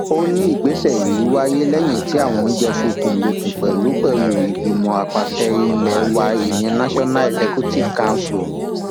ó ní ìgbésẹ yìí wáyé lẹyìn tí àwọn jọ fikùn lukùn pẹlú pẹlú ìgbìmọ àpasẹ ilé wa ìyẹn national executive council